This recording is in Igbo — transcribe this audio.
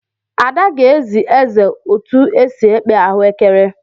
Ada ga-ezi eze ụtụ esi ekpe ahuekere.